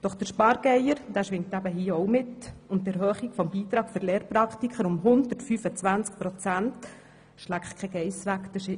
Doch der Spargeier schwingt eben auch hier mit, und die Erhöhung des Beitrags der Lehrpraktiker um 125 Prozent «schläckt ke Geiss wäg».